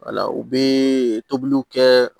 Wala u bɛ tobiliw kɛ